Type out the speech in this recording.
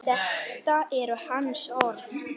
Þetta eru hans orð.